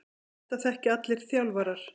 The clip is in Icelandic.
Þetta þekkja allir þjálfarar.